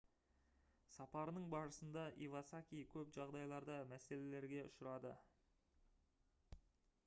сапарының барысында ивасаки көп жағдайларда мәселелерге ұшырады